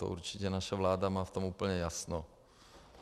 To určitě naše vláda má v tom úplně jasno.